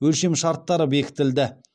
өлшемшарттары бекітілді